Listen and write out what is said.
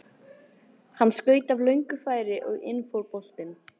Hann skaut af löngu færi og inn fór boltinn.